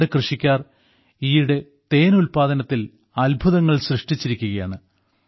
നമ്മുടെ കൃഷിക്കാർ ഈയിടെ തേൻ ഉല്പാദനത്തിൽ അത്ഭുതങ്ങൾ സൃഷ്ടിച്ചിരിക്കുകയാണ്